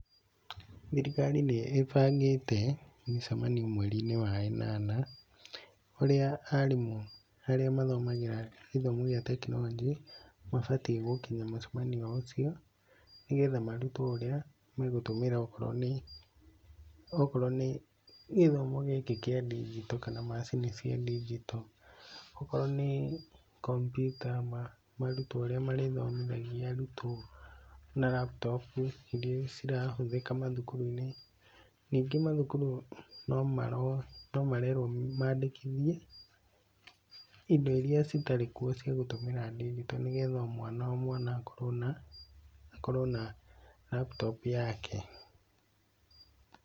Thirikari nĩĩbangĩte mĩcemanio mweri-inĩ wa ĩnana, ũrĩa aarimũ arĩa mathomagĩra gĩthomo gĩa technology, mabatiĩ gũkinya mũcemanio ũcio ,nĩgetha marutwo ũrĩa megũtũmĩra okorwo nĩ gĩthomo gĩkĩ kĩa ndigito kana macini cia ndigito. Okorwo ni kompiuta marutwo ũria marĩthomithagia arutwo na raputopu iria cirahũthĩka mathukuru-inĩ. Ningĩ mathukuru no marerwo mandĩkithie indo iria citarĩ kuo cia gũtũmira ndigito nĩgetha o mwana o mwana akorwo na raputopu yake.